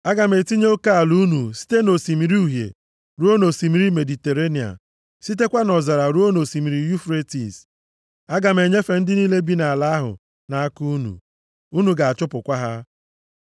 “Aga m etinye oke ala unu site nʼOsimiri Uhie ruo nʼosimiri Mediterenịa, sitekwa nʼọzara ruo nʼosimiri Yufretis. Aga m enyefe ndị niile bi nʼala ahụ nʼaka unu. Unu ga-achụpụkwa ha.